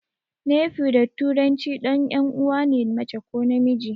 Nephew da turanci ɗan 'yan uwana ne mace ko namiji.